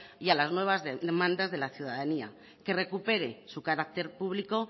y a las nuevas demandas de la ciudadanía que recupere su carácter público